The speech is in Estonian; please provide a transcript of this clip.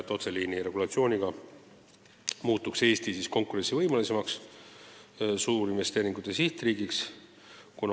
Otseliini regulatsiooniga soovitakse Eesti muuta konkurentsivõimelisemaks suurinvesteeringute sihtriigiks.